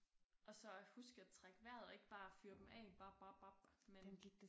Og så at huske at trække vejret og ikke bare fyre dem af bap bap bap men